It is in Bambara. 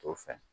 To fɛn